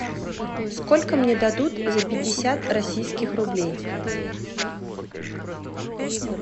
сколько мне дадут за пятьдесят российских рублей